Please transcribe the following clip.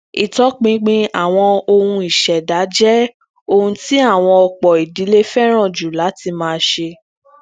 itọpinpin awọn ohun iṣẹda je ohun ti awọn ọpọ ìdílé féràn ju láti máa ṣe